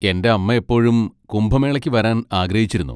എന്റെ അമ്മ എപ്പോഴും കുംഭമേളയ്ക്ക് വരാൻ ആഗ്രഹിച്ചിരുന്നു.